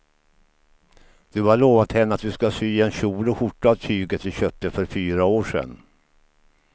Du har lovat henne att du ska sy en kjol och skjorta av tyget du köpte för fyra år sedan.